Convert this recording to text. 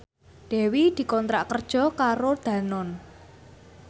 Dewi dikontrak kerja karo Danone